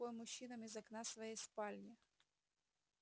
махать рукой мужчинам из окна своей спальни